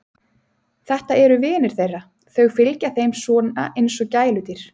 Þetta eru vinir þeirra, þau fylgja þeim svona eins og gæludýr.